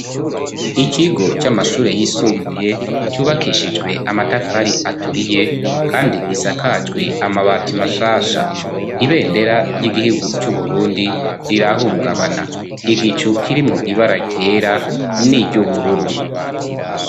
ikigo c'amashure y'isumbuye cubakishijwe amatafari aturiye kandi gisakajwe amabati mashasha ,ibendera ry'igihigu c'uburundi rirahungabana ,igicu kirimwo ibara ryera niry’ubururu.